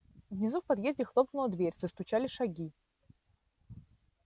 внизу в подъезде хлопнула дверь застучали шаги